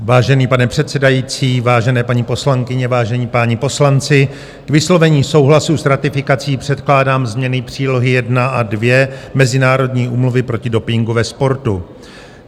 Vážený pane předsedající, vážené paní poslankyně, vážení páni poslanci, k vyslovení souhlasu s ratifikací předkládám změny přílohy I a II Mezinárodní úmluvy proti dopingu ve sportu.